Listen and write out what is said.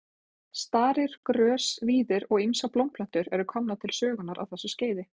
Starir, grös, víðir og ýmsar blómplöntur eru komnar til sögunnar á þessu skeiði.